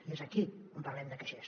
i és aquí on parlem de caixers